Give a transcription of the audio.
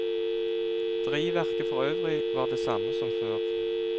Drivverket for øvrig var det samme som før.